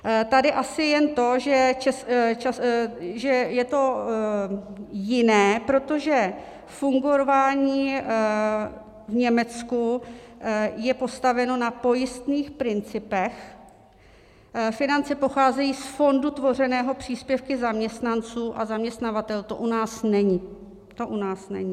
Tady asi jen to, že je to jiné, protože fungování v Německu je postaveno na pojistných principech, finance pocházejí z fondu tvořeného příspěvky zaměstnanců a zaměstnavatelů, to u nás není... to u nás není.